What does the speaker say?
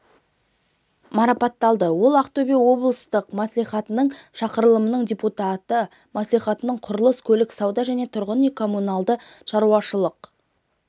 марапатталды ол ақтөбе облыстық мәслихатының шақырылымының депутаты мәслихаттың құрылыс көлік сауда және тұрғын үй-коммуналдық шаруашылық